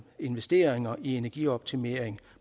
investeringer i energioptimering